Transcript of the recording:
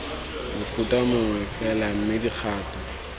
mofuta mongwe fela mme dikgato